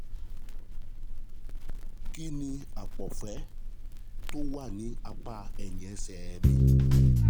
Kí ni àpọ̀fẹ́ tó wà ní apá ẹ̀yìn ẹsẹ̀ mi?